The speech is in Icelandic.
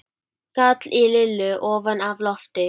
gall í Lillu ofan af lofti.